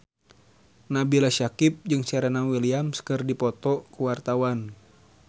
Nabila Syakieb jeung Serena Williams keur dipoto ku wartawan